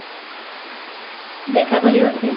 ଦେଖା କରିବ କି?